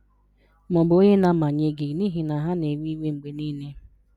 Ma ọ bụ onye na-amanye gị n'ihi na ha na-ewe iwe mgbe niile?